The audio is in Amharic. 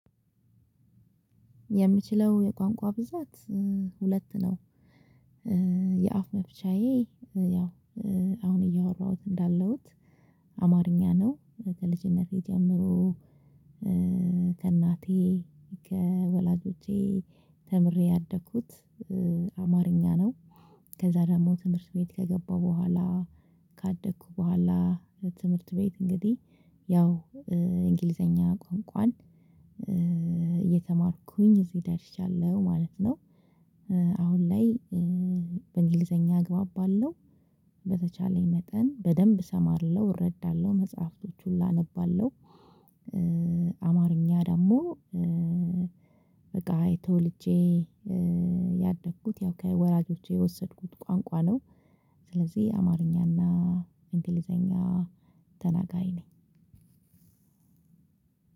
የምችለው የቋንቋ ብዛት ሁለት ነው። የአፍ መፍቻዬ ያው አሁን እያወራሁት እንዳለሁት አማርኛ ነው ከልጅነቴ ጀምሮ ከእናቴ ከወላጆቼ ተምሬ ያደኩት አማርኛ ነው። ከዛ ደግሞ ትምህርት ቤት ከገባሁ በኋላ ካደኩ በኋላ ትምህርት ቤት እንግዲህ ያው እንግሊዘኛ ቋንቋን እየተማርኩኝ እዚህ ደርሻለሁ ማለት ነው። አሁን ላይ በእንግሊዘኛ እግባባለው በተቻለኝ መጠን በደንብ እሰማለሁ እረዳለሁ መጽሐፍቶች ሁላ አነባለሁ። አማርኛ ደግሞ በቃ ተወልጄ ያደግኩት ያው ከወላጆቼ የወሰድኩት ቋንቋ ነው። ስለዚህ አማርኛና እንግሊዘኛ ተናጋሪ ነኝ።